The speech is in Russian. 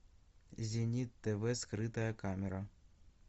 зенит тв скрытая камера